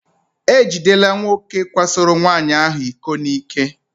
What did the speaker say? E jidela nwoke kwasoro nwaanyị ahụ iko n'ike.